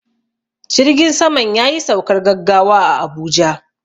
Jirgin saman yayi saukar gaggawa a Abuja.